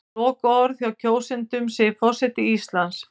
Lokaorðið hjá kjósendum segir forseti Íslands